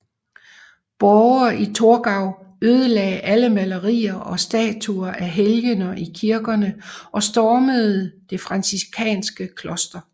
Borgere i Torgau ødelagde alle malerier og statuer af helgener i kirkerne og stormede det franciskanske kloster